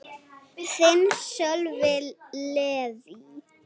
Þinn, Sölvi Leví.